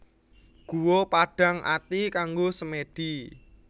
Guwa Padang Ati kanggo semèdi